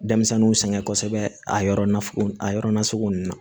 Denmisɛnninw sɛgɛn kosɛbɛ a yɔrɔ na a yɔrɔ nasugu ninnu na